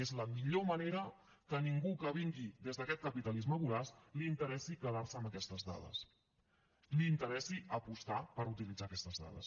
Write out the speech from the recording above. és la millor manera que a ningú que vingui des d’aquest capitalisme voraç li interessi quedar se amb aquestes dades li interessi apostar per utilitzar aquestes dades